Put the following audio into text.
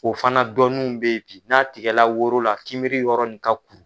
O fana dɔnninw bɛ ye bi n'a tigɛla woro la kinbiri yɔrɔ nin ka kuru.